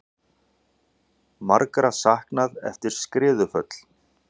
Margra saknað eftir skriðuföll